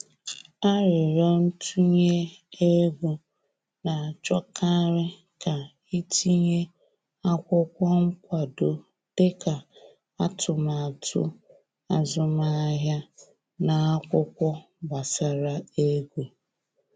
Aririo ntunye ego, na achọkarị ka i tinye akwụkwọ nkwado dị ka atụmatụ azụmahịa na akwụkwọ gbasara ego